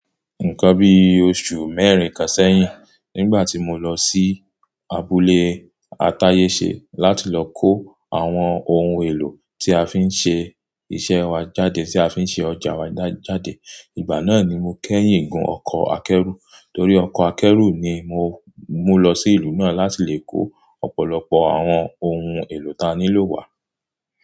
Nǹkan bí oṣù mẹ́rin kan sẹ́yìn, nígbà tí mo lọ sí abúlé Atáyẹ̀ṣe láti lọ kó àwọn ohun èlò tí a fi ń ṣe iṣẹ́ wa jáde, tí a fi ń ṣe ọjà wa jáde, ìgbà náà ni mo kẹ́yìn gùn ọkọ̀ akẹ́rù. Torí ọkọ̀ akẹ́rù ni mo, mu lọ sí ìlú náà láti lè kó ọ̀pọ̀lọpọ̀ àwọn ohun èlò tí a nílò wá.